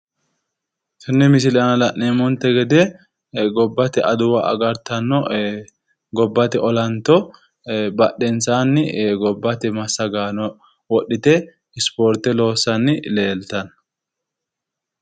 Tenne misile aana la'neemonte gede gobbate aduwa agarartanno gobbate olanto badhensaani gobbate massagaano wodhite ispoorte loossanni leeltanno